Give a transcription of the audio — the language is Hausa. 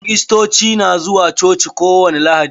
Kirirstoci na zuwa coci ko wani lahadi.